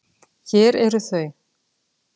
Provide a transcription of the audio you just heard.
Hér eru þau.